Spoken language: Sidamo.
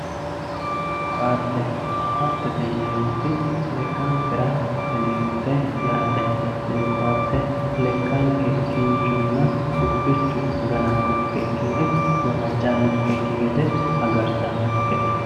ko"atte ko"attete yineemoti lekkankera wodhineemote yaate tini ko"atte lekkanke kinchunna gufichu gananonkeki woy gawajjanonkeki gede agartanonkete.